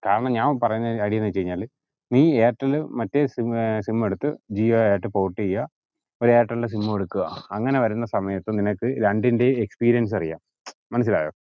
കാരണം ഞാൻ പറയിന്ന കാര്യേന്ന് വെച്ചകയിഞ്ഞാല് നീ എയർടെൽ മറ്റേ sim ഏർ sim എടുത്ത് ജിയോ ആയിട്ട് port ചെയ്യുആ ഒരു എയര്ടെലിന്റെ sim ഉം എടുക്ക്‌ആ അങ്ങനെ വരിന്ന സമയത്ത് നിനക്ക് രണ്ടിന്റേം experience അറിയാം മ്ചം മനസ്സിലായോ